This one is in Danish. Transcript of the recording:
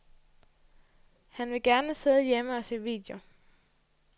Han vil gerne sidde hjemme og se video.